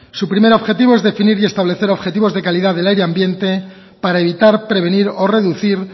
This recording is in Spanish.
su primer objetivo es definir y establecer objetivos de calidad del aire ambiente para evitar prevenir o reducir